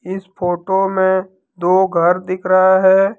इस फोटो में दो घर दिख रहा है।